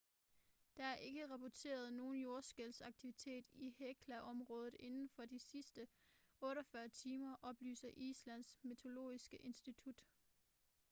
der er ikke rapporteret nogen jordskælvsaktivitet i hekla-området inden for de sidste 48 timer oplyser islands meteorologiske institut